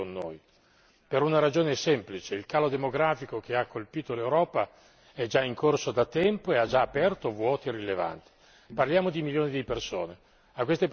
in altri paesi e che verranno a lavorare qui con noi, per una ragione semplice il calo demografico che ha colpito l'Europa è già in corso da tempo e ha già aperto vuoti rilevanti.